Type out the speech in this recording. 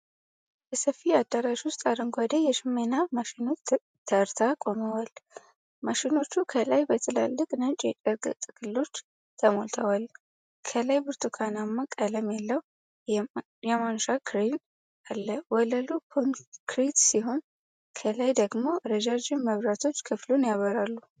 በሰፊ አዳራሽ ውስጥ አረንጓዴ የሽመና ማሽኖች ተርታ ቆመዋል። ማሽኖቹ ከላይ በትላልቅ ነጭ የጨርቅ ጥቅሎች ተሞልተዋል። ከላይ ብርቱካናማ ቀለም ያለው የማንሻ ክሬን አለ። ወለሉ ኮንክሪት ሲሆን ከላይ ደግሞ ረዣዥም መብራቶች ክፍሉን ያበራሉ።